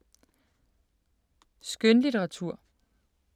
Skønlitteratur